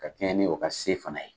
Ka kɛɲɛ ni o ka se fana ye.